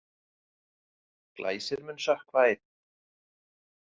Glæsir mun sökkva einn.